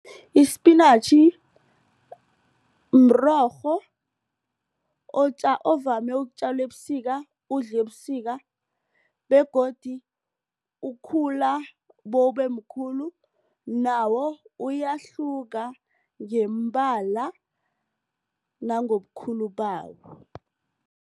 Isipinatjhi mrorho ovame ukutjalwa ebusika udliwe ebusika begodu ukhula bowubemkhulu nawo uyahluka ngeembala nangobukhulu bawo.